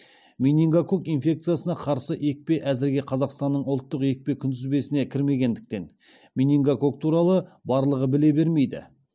менингококк инфекциясына қарсы екпе әзірге қазақстанның ұлттық екпе күнтізбесіне кірмегендіктен менингококк туралы барлығы біле бермейді